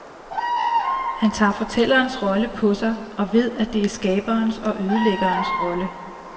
Han tager fortællerens rolle på sig og ved, at det er skaberens og ødelæggerens rolle.